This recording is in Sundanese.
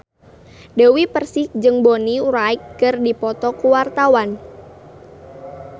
Dewi Persik jeung Bonnie Wright keur dipoto ku wartawan